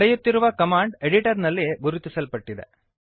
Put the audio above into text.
ನಡೆಯುತ್ತಿರುವ command editor ನಲ್ಲಿ ಗುರುತಿಸ್ಪಟ್ಟಿದೆ